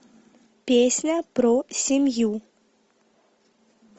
песня про семью